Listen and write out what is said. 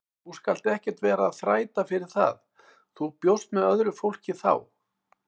Þú skalt ekkert vera að þræta fyrir það, þú bjóst með öðru fólki þá!